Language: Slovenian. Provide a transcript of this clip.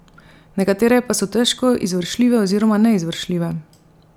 Nekatere pa so težko izvršljive oziroma neizvršljive.